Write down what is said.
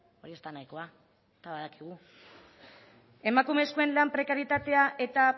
hori ez da nahikoa eta badakigu emakumezkoen lan prekarietatea eta